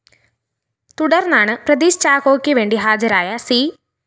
തുടര്‍ന്നാണ് പ്രദീഷ് ചാക്കോക്ക് വേണ്ടി ഹാജരായ സി